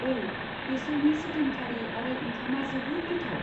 औ, बेसोरनि chicken curry आरो औंखामा जोबोद गोथाव।